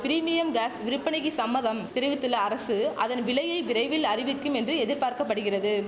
premium gas விற்பனைக்கு சம்மதம் தெரிவித்துள்ள அரசு அதன் விலையை விரைவில் அறிவிக்கும் என்று எதிர்பார்க்க படுகிறது